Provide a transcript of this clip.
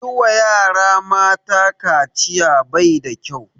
Yi wa yara mata kaciya bai da kyau